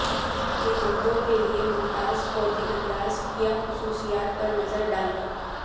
کے مردوں کے لئے ممتاز فوجی انداز کیا خصوصیات پر نظر ڈالیں